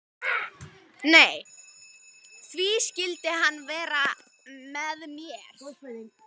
Nei, því skyldi hann vera með mér?